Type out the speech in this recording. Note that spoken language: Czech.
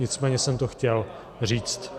Nicméně jsem to chtěl říct.